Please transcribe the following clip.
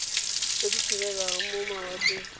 tse di tshelang mo mawatleng